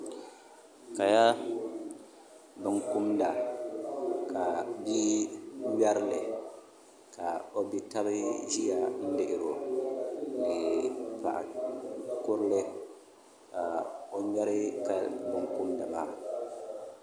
Kaya bin kumda ka bia ŋmɛrili ka o bia tabi ʒiya n lihiro ni paɣa ninkurili ka o ŋmɛra laa bin kumda maa